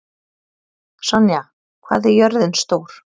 Sonja, hvað er jörðin stór?